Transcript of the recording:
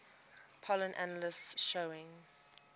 pollen analysis showing